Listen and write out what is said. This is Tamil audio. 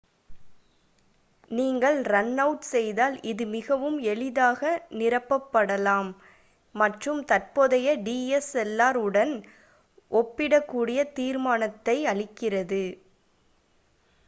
நீங்கள் ரன் அவுட் செய்தால் இது மிகவும் எளிதாக நிரப்பப்படலாம் மற்றும் தற்போதைய dslr உடன் ஒப்பிடக்கூடிய தீர்மானத்தை அளிக்கிறது